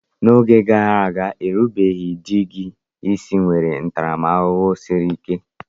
N'oge gara aga, erubeghi di gị isi nwere ntaramahụhụ siri ike.